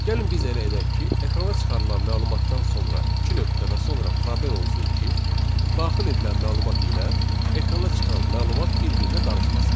Gəlin biz elə edək ki, ekrana çıxarılan məlumatdan sonra iki nöqtə və sonra probel olsun ki, daxil edilən məlumat ilə ekrana çıxan məlumat bir-birinə qarışmasın.